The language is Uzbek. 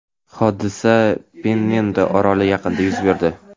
Hodisa Pennendo oroli yaqinida yuz berdi.